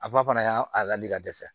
A ba fana y'a a ladi ka dɛsɛ